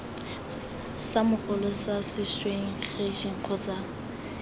sa mogolo sa sešwengšeng kgotsa